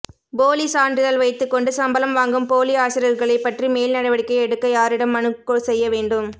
போலி சான்றிதழ் வைத்துக்கொண்டு சம்பளம் வாங்கும் போலி ஆசிரியர்களை பற்றி மேல் நடவடிக்கை எடுக்க யாரிடம் மனு செய்ய வேண்டும்